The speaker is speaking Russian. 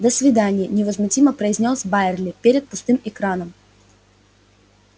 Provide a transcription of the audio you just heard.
до свидания невозмутимо произнёс байерли перед пустым экраном